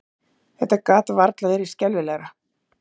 Þetta gat varla verið skelfilegra!